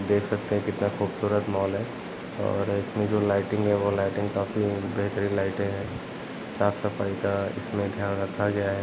देख सकते है इतना खूबसूरत मॉल है इसमें जो लाइटिंग है वो लाइटिंग काफी बेहतरीन लाइटे है साफ सफाई का धयान रखा गया है।